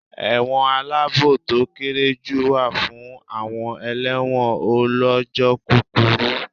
Ẹ̀wọ̀n aláàbò to kéré jù wà fún àwọn elẹ́wọ̀n ó lọ́jọ́ kúkurú.